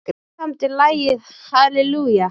Hver samdi lagið Hallelujah?